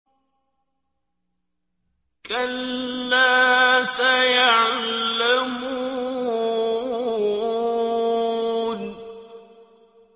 كَلَّا سَيَعْلَمُونَ